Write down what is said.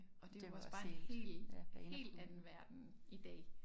Og det jo også bare en hel hel anden verden i dag